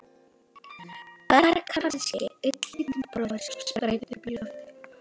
Bara kannski einn lítinn bróður sem sprændi upp í loftið.